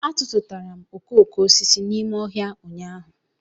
A tụtụtara m okoko osisi a n'ime ọhịa ụnyahụ